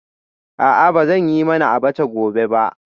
A'a ba zan yi mana abacha gobe ba